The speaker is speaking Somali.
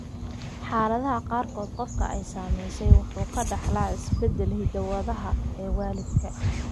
Xaaladaha qaarkood, qofka ay saamaysay wuxuu ka dhaxlaa isbeddelka hidde-sidaha ee waalidka.